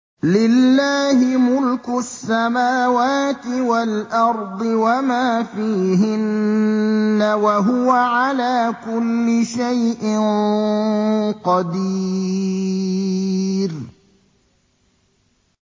لِلَّهِ مُلْكُ السَّمَاوَاتِ وَالْأَرْضِ وَمَا فِيهِنَّ ۚ وَهُوَ عَلَىٰ كُلِّ شَيْءٍ قَدِيرٌ